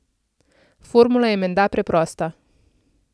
Formula je menda preprosta.